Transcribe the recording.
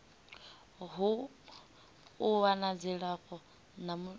u wana dzilafho la mishonga